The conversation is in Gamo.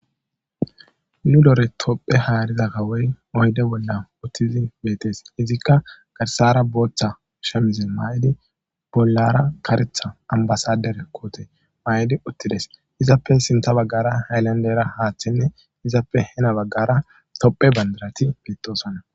nu dore topphe haariza kawey oyde bolla uttizi beetes izikka garsara booththa shemize maa7idi bollara karetha ambasader koote ma7idi uttides izappe sinta baggara haylandera haaththinne izappe hena baggara topphe bandarati beettosana